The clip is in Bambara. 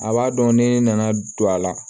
A b'a dɔn ne nana don a la